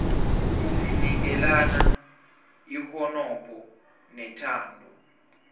sinikelana ihonopho nethando